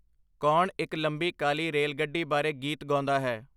ਕੌਣ ਇੱਕ ਲੰਬੀ ਕਾਲੀ ਰੇਲਗੱਡੀ ਬਾਰੇ ਗੀਤ ਗਾਉਂਦਾ ਹੈ?